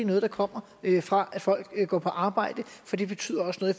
noget der kommer fra at folk går på arbejde det betyder også noget